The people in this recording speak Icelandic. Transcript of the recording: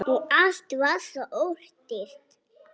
Og allt var svo ódýrt!